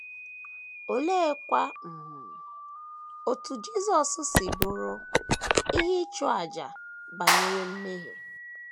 Oleekwa um otú Jisọs si bụrụ “ ihe ịchụ àjà ” banyere mmehie?